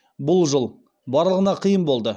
бұл жыл барлығына қиын болды